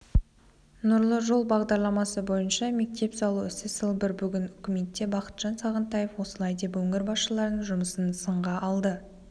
нұрлы жол бағдарламасы бойынша мектеп салу ісі сылбыр бүгін үкіметте бақытжан сағынтаев осылай деп өңір басшыларының жұмысын сынға алды